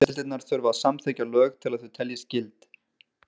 Báðar deildirnar þurfa að samþykkja lög til að þau teljist gild.